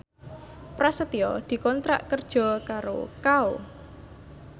Prasetyo dikontrak kerja karo Kao